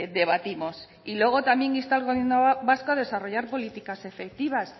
debatimos y luego también insta al gobierno vasco a desarrollar políticas efectivas